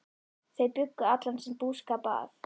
Þau bjuggu allan sinn búskap að